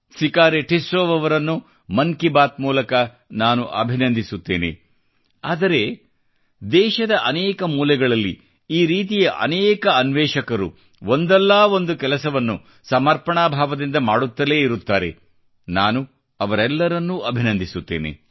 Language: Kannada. ಸಿಕಾರಿ ಟಿಸ್ಸೌಅವರನ್ನು ಮನ್ ಕಿ ಬಾತ್ ಮೂಲಕ ನಾನು ಅಭಿನಂದಿಸುತ್ತೇನೆ ಆದರೆ ದೇಶದ ಅನೇಕ ಮೂಲೆಗಳಲ್ಲಿ ಈ ರೀತಿಯ ಅನೇಕ ಅನ್ವೇಷಕರು ಒಂದಲ್ಲ ಒಂದು ಕೆಲಸವನ್ನು ಸಮರ್ಪಣಾ ಭಾವದಿಂದ ಮಾಡುತ್ತಲೇ ಇರುತ್ತಾರೆ ನಾನು ಅವರೆಲ್ಲರನ್ನೂ ಅಭಿನಂದಿಸುತ್ತೇನೆ